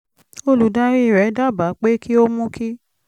olùdarí rẹ̀ dábàá pé kí ó mú kí